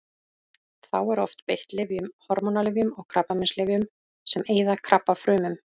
Þá er oft beitt lyfjum: hormónalyfjum og krabbameinslyfjum sem eyða krabbafrumum.